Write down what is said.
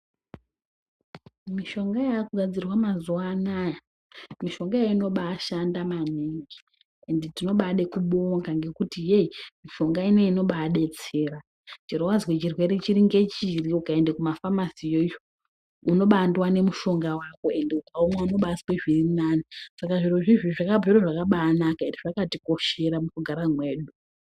Mishonga yakugadzirwa mazuva anaya mishonga iyi inobashanda maningi ende tinobade kubonga ngekuti heii mishonga inoiyi inababetsera. Chero vazwe chirwere chiri ngechiri ukaende kumafamasi yoyo unobandovane mushonga vako ende ukaunwa unobazwe zvirinani. Saka zviro zvizvi zvakabviro zvakabanaka ende zvakatikoshera mukugara mwedu.